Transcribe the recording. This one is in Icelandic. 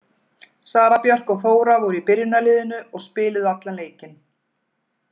Sara Björk og Þóra voru í byrjunarliðinu og spiluðu allan leikinn.